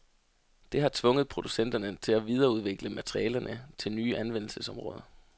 Det har tvunget producenterne til at videreudvikle materialerne til nye anvendelsesområder.